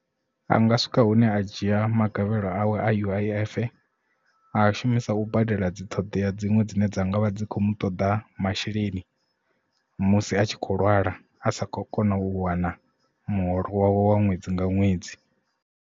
Anga swika hune a dzhia magavhelo awe a U_I_F a shumisa u badela dzi ṱhoḓea dziṅwe dzine dza ngavha dzi kho mu toḓa masheleni musi a tshi kho lwala a sa kho kona u wana muholo wawe wa ṅwedzi nga ṅwedzi.